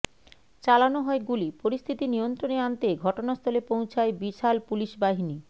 চালানো হয় গুলি পরিস্থিতি নিয়ন্ত্রণে আনতে ঘটনাস্থলে পৌঁছায় বিশাল পুলিশ বাহিনী